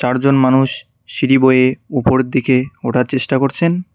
চারজন মানুষ সিঁড়ি বয়ে উপরের দিকে ওঠার চেষ্টা করছেন।